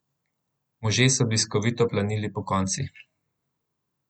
Možje so bliskovito planili pokonci.